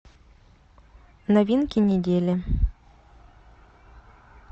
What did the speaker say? новинки недели